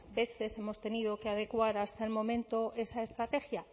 veces hemos tenido que adecuar hasta el momento esa estrategia